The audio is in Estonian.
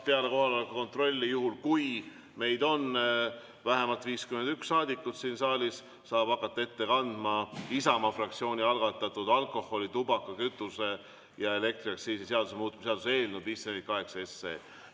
Peale kohaloleku kontrolli saab, juhul kui meid on vähemalt 51 saadikut siin saalis, hakata ette kandma Isamaa fraktsiooni algatatud alkoholi-, tubaka-, kütuse- ja elektriaktsiisi seaduse muutmise seaduse eelnõu 548.